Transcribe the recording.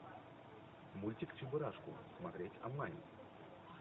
мультик чебурашку смотреть онлайн